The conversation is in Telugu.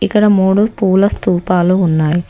ఇక్కడ ముడు పూల స్తూపాలు ఉన్నాయి.